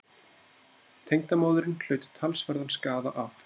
Tengdamóðirin hlaut talsverðan skaða af